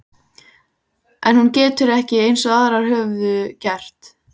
En hún getur ekki- eins og aðrar höfðu gert